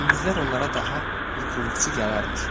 Gündüzlər onlara daha bir qulluqçu gələrmiş.